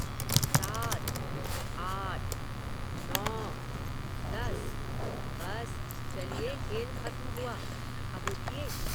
सात। आठ। नौ। दस। बस, खेल खत्म हुआ। अब उठिए